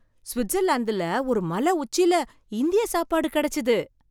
சுவிட்சர்லாந்துல ஒரு மலை உச்சியில இந்திய சாப்பாடு கிடைச்சது!